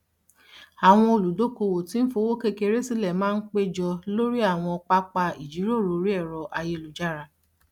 àwọn oludokowo tí ń fowó kékeré sílẹ máa ń péjọ lórí àwọn pápá ìjíròrò orí ẹrọ ayélujára